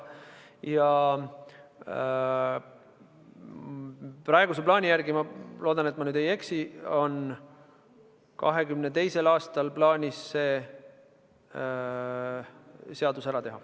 Praeguse plaani järgi – ma loodan, et ma ei eksi – on 2022. aastal kavas see ära teha.